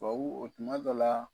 Tubabuw tuma dɔ la